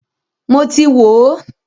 Mọ ti wò ó.